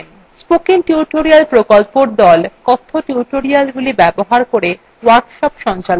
spoken tutorial প্রকল্পর the কথ্য tutorialগুলি ব্যবহার করে workshop সঞ্চালন করে